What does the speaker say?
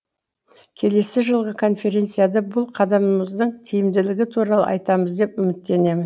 келесі жылғы конференцияда бұл қадамымыздың тиімділігі туралы айтамыз деп үміттенемін